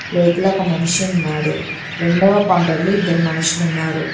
లోపల ఒక మనిషి ఉన్నాడు రెండవ కౌంటర్ లో ఇద్దరు మనుషులు ఉన్నారు.